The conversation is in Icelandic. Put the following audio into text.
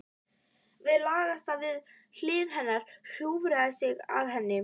Hann lagðist við hlið hennar, hjúfraði sig að henni.